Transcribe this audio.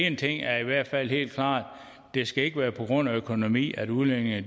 en ting er i hvert fald helt klart det skal ikke være på grund af økonomi at udlændinge